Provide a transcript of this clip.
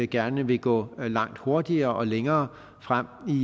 gerne vil gå langt hurtigere og længere frem